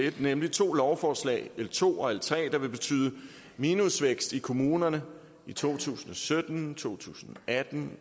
en nemlig to lovforslag l to og l tre der vil betyde minusvækst i kommunerne i to tusind og sytten i to tusind og atten